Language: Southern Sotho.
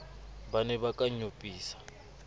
ba ne ba ka nyopisa